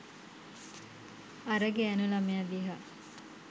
අර ගෑණු ළමයා දිහා